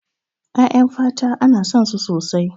Ƴaƴan fata ana son su sosai.